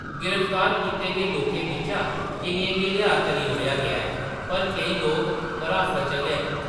गिरफ्तार कीते गे लोकें बिच्चा केइयें गी रिहाऽ करी ओड़ेआ गेआ ऐ पर केईं लोक हरासत च गै न।